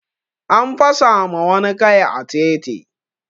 An fasa ma wani kai a titi